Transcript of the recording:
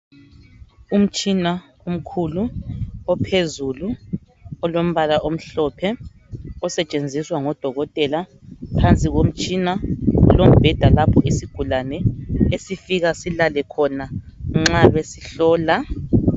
Umtshina omkhulu ophezulu olombala omhlophe osetshenziswa ngodokotela phansi komtshina kulombheda lapho isigulani esifika silale khona nxa besihlola.